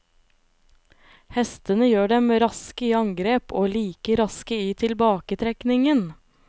Hestene gjør dem raske i angrep og like raske i tilbaketrekningen.